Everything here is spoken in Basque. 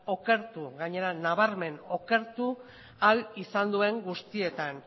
okertuz gainera nabarmen okertu ahal izan duen guztietan